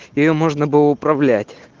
её можно было управлять